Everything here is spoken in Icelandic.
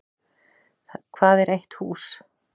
Hvað er eitt hús?